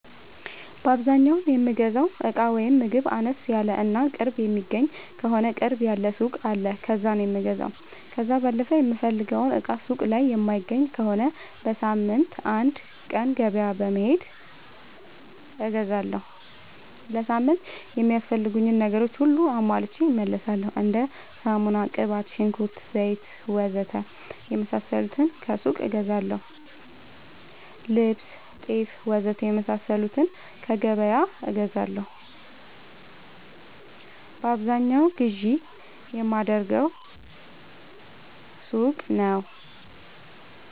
በአዛኛው የምገዛው እቃ ወይም ምግብ አነስ ያለ እና ቅርብ የሚገኝ ከሆነ ቅርብ ያለ ሱቅ አለ ከዛ ነው የምገዛው። ከዛ ባለፈ የምፈልገውን እቃ ሱቅ ላይ የማይገኝ ከሆነ በሳምንት አንድ ቀን ገበያ በመሄድ እገዛለሁ። ለሳምንት የሚያስፈልጉኝ ነገሮች ሁሉንም አሟልቼ እመለሣለሁ። እንደ ሳሙና፣ ቅባት፣ ሽንኩርት፣ ዘይት,,,,,,,,, ወዘተ የመሣሠሉትን ከሱቅ እገዛለሁ። ልብስ፣ ጤፍ,,,,,,,,, ወዘተ የመሣሠሉትን ከገበያ እገዛለሁ። በአብዛኛው ግዢ የማደርገው ሱቅ ነው።